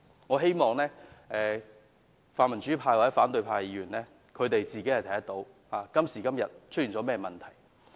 我希望泛民主派或反對派的議員能看到出現了甚麼問題。